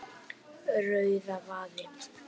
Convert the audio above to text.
Rauðavaði